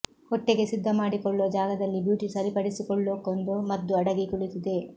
ಹೊಟ್ಟೆಗೆ ಸಿದ್ಧ ಮಾಡಿಕೊಳ್ಳೋ ಜಾಗದಲ್ಲಿ ಬ್ಯೂಟಿ ಸರಿಪಡಿಸಕೊಳ್ಳೋಕೊಂದು ಮದ್ದು ಅಡಿಗಿ ಕುಳಿತಿದೆ